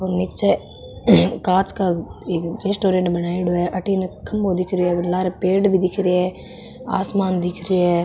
और निचे एक कांच का रेस्टोरेंट बनाईयोडा है अठीने खम्भों दिख रियो है लारे पेड़ भी दिख रहे है आसमान दिख रहे है।